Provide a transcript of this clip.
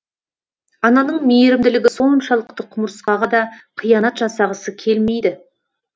ананың мейірімділігі соншалықты құмырсқаға да қиянат жасағысы келмейді